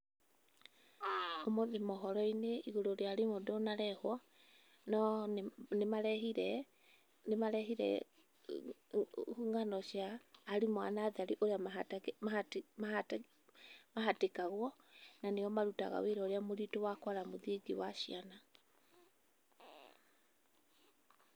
Ũmũthĩ mohoro-inĩ igũrũ rĩa arimũ ndũnarehwo, no nĩ nĩmarehire, nĩmarehire ng'ano cia arimũ a natharĩ urĩa mahatĩkagwo na nĩo marutaga wĩra urĩa mũritũ wa kwara mũthingi wa ciana.